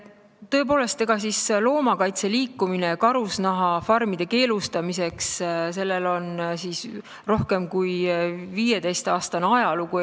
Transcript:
Tõepoolest, loomakaitseliikumisel karusloomafarmide keelustamiseks on Eestis rohkem kui 15-aastane ajalugu.